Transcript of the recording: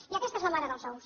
i aquesta és la mare dels ous